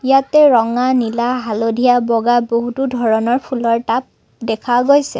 ইয়াতে ৰঙা নীলা হালধীয়া বগা বহুতো ধৰণৰ ফুলৰ টাব দেখা গৈছে।